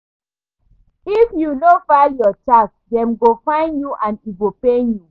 If you no file your tax, dem go fine you and e go pain you.